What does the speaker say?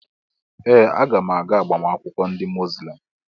Ee! Aga m aga agbamakwụkwọ ndị Muzlem.